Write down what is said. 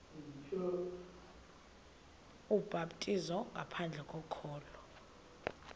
ubhaptizo ngaphandle kokholo